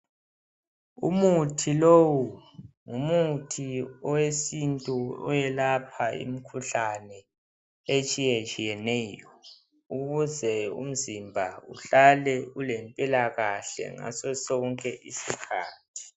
Umuthi lowu, ngumuthi owesintu owelapha imikhuhlane etshiyetshiyeneyo. Ukuze umzimba uhlale ulempilakahle ngaso sonke isikhathi.